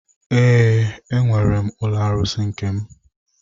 Ee, enwere m ụlọ arụsị nke m.